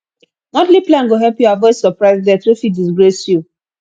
monthly plan go help you avoid surprise debt wey fit disgrace you